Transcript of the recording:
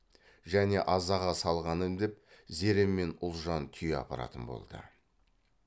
және азаға салғаным деп зере мен ұлжан түйе апаратын болды